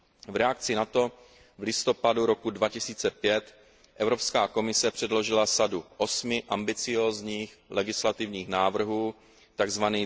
V reakci na to v listopadu roku 2005 Evropská komise předložila sadu osmi ambiciózních legislativních návrhů, tzv.